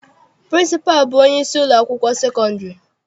Pịrịnsịpalụ bụ onyeisi ụlọakwụkwọ sekọndịrị.